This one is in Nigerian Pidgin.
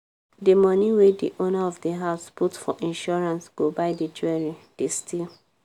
di money wey di owner of di house put for insurance go buy di jewelry they steal.